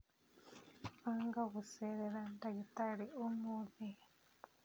banga gũceera ndagĩtarĩ ũmũthĩ